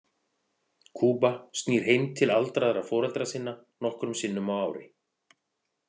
Kuba snýr heim til aldraðra foreldra sinna nokkrum sinnum á ári.